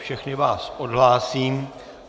Všechny vás odhlásím.